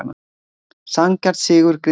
Sanngjarn sigur Grindvíkinga